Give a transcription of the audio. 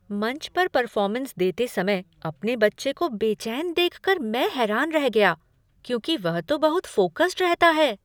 मंच पर परफॉर्मेंस देते समय अपने बच्चे को बेचैन देख कर मैं हैरान रह गया क्योंकि वह तो बहुत फोकस्ड रहता है।